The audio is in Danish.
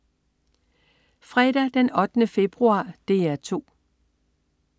Fredag den 8. februar - DR 2: